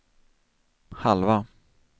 halva